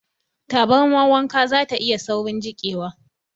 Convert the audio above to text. Tabarmar wanka zata iya saurin jiƙewa.